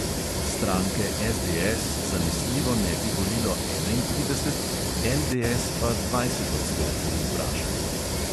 Stranke SDS zanesljivo ne bi volilo enaintrideset, LDS pa dvajset odstotkov vprašanih.